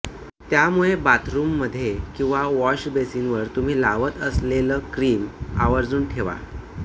त्यामुळे बाथरूममध्ये किंवा वॉशबेसिनवर तुम्ही लावत असलेलं क्रीम आवर्जून ठेवा